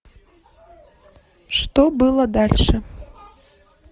что было дальше